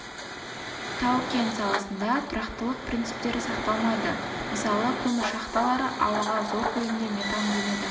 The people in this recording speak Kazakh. тау-кен саласында тұрақтылық принциптері сақталмайды мысалы көмір шахталары ауаға зор көлемде метан бөледі